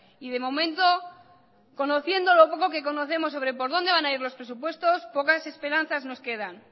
y de momento conociendo lo poco que conocemos sobre por dónde van a ir los presupuestos pocas esperanzas nos quedan